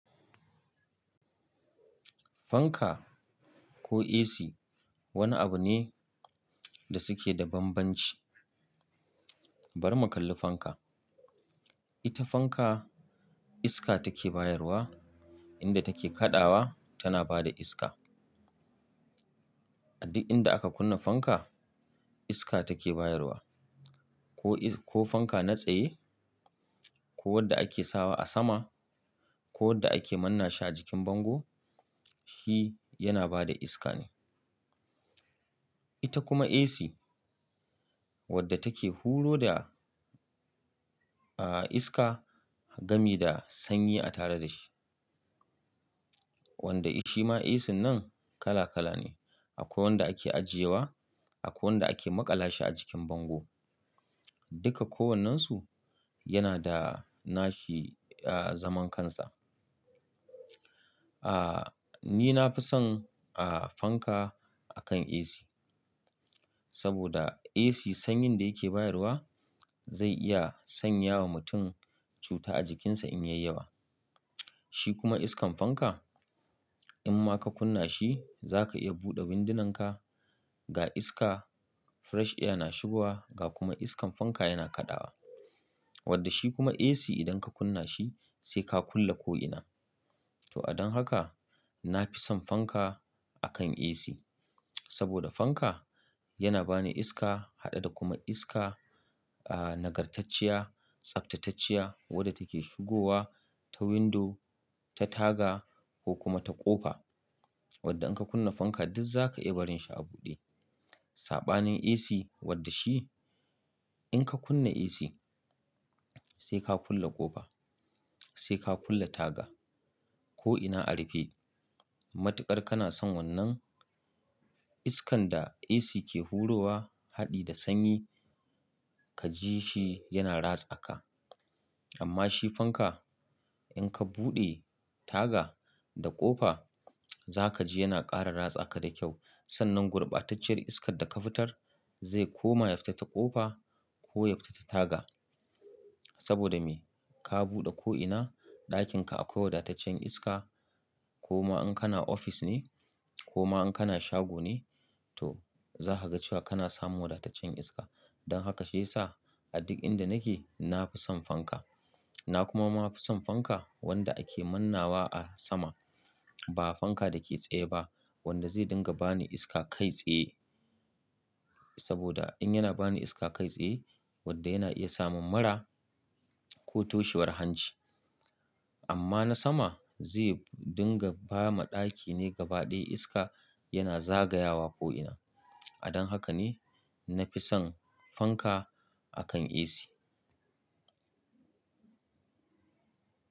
Fanka ko AC wani abu ne da suke da banbanci. Bar mu kalli fanka. Ita fanka iska ta ke bayarwa, in da ta ke kaɗawa ta na ba da iska. A duk in da aka kunna fanka iska ta ke bayarwa. Ko fanka na tsaye ko wadda ake sawa a sama ko wadda ake manna shi a jikin bango, shi ya na bada iska ne. Ita kuma AC wadda ta ke huro da, ah, iska gami da sanyi a tare da shi. Wanda shi ma AC nan kala kala ne. Akwai wanda ake ajiye wa, akwai wanda ake maƙala shi a jikin bango. Duka kowannensu yana da nashi, ah, zaman kansa. Ah, ni na fi son, ah, fanka akan AC. Saboda AC sanyin da ya ke bayarwa zai iya sanya wa mutum cuta a jikinsa in ya yi yawa. Shi kuma iskan fanka in ma ka kunna shi za ka iya buɗe windunanka ga iska fresh iya na shigowa ga kuma iskan fanka ya na kaɗawa. Wadda shi kuma AC idan ka kunna shi sai ka kulle ko'ina. To, a don haka na fi son fanka akan AC. Saboda fanka ya na bani iska haɗe da kuma iska, ah, nagartacciya, tsaftatacciya wadda take shigowa ta windo, ta taga ko kuma ta ƙofa. Wadda in ka kunna fanka duk za ka iya barin shi a buɗe. Saɓanin AC wadda shi in ka kunna AC sai ka kulle ƙofa, sai ka kulle taga ko'ina a rufe. Matuƙar kana son wannan iskan da AC ke hurowa haɗe da sanyi ka ji shi ya na ratsa ka. Amma shi fanka in ka buɗe taga da ƙofa za ka ji yana ƙara rats aka da kyau. Sannan gurbatacciyar iskar da ka fitar zai ko ma ya fita ta ƙofa ko ya fita ta taga. Saboda me? Ka buɗe ko'ina ɗakin ka akwai wadataccen iska ko ma in ka na ofis ne ko ma in ka na shago ne to za ka ga cewa ka na samun wadataccen iska. Don haka shi ya sa a duk inda na ke na fi son fanka. Na kuma ma fi son fanka wanda ake mannawa a sama ba fanka da ke tsaye ba wanda zai dinga bani iska kai tsaye. Saboda in ya na bani iska kai tsaye wadda ya na iya samun mura ko toshewar hanci. Amma na sama zai dinga ba ma ɗaki ne gaba ɗaya iska ya na zagayawa ko'ina. A don haka ne na fi son fanka akan AC.